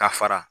Ka fara